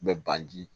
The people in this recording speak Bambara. Bɛ ban di